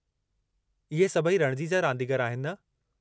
इहे सभई रणिजी जा रांदीगर आहिनि, न?